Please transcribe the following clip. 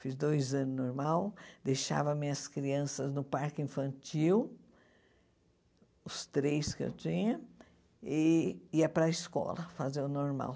Fiz dois anos normal, deixava minhas crianças no parque infantil, os três que eu tinha, e ia para a escola fazer o normal.